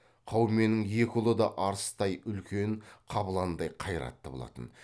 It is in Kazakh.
қауменнің екі ұлы да арыстай үлкен қабыландай қайратты болатын